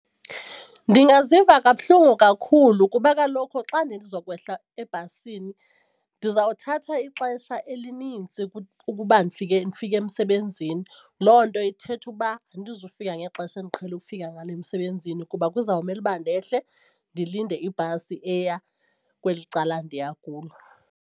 Ndingaziva kabuhlungu kakhulu kuba kaloku xa ndizokwehla ebhasini ndiza kuthatha ixesha elinintsi ukuba ndifike ndifike emsebenzini tyhini loo nto ithetha uba andizukufika ngexesha endiqhele ukufika ngalo emsebenzini kuba kuzawumele uba ndehle ndilinde ibhasi eya kweli cala ndiya kulo.